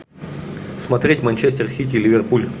смотреть манчестер сити ливерпуль